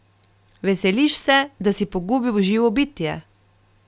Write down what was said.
Veseliš se, da si pogubil živo bitje!